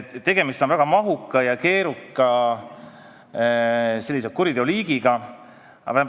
Tegemist on väga mahuka ja keeruka kuriteoliigiga.